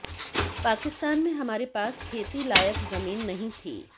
पाकिस्तान में हमारे पास खेती लायक जमीन नहीं थी